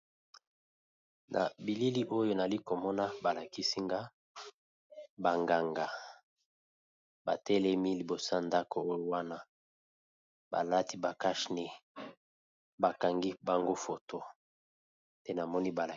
Nabilili oyo nalikomona balakisinga banganga batelemi liboso yandako oyowana balati bakashine bakangi bongo photo nde namoni